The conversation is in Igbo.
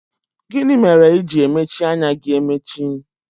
Gịnị mere i ji emechi anya gị emechi?